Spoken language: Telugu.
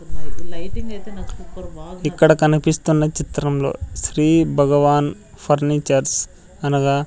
ఇక్కడ కనిపిస్తున్న చిత్రంలో శ్రీ భగవాన్ ఫర్నిచర్స్ అనగా.